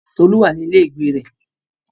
Tolu wà ní ilé ìgbé rẹ̀.